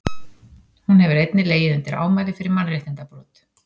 hún hefur einnig legið undir ámæli fyrir mannréttindabrot